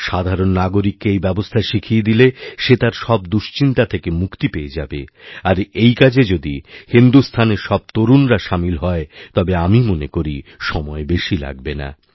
সাধারণ নাগরিককে এই ব্যবস্থা শিখিয়ে দিলে সেতার সব দুশ্চিন্তা থেকে মুক্তি পেয়ে যাবে আর এই কাজে যদি হিন্দুস্থানের সব তরুণরাসামিল হয় তবে আমি মনে করি সময় বেশি লাগবে না